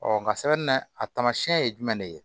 nka sɛbɛn na a taamasiyɛn ye jumɛn de ye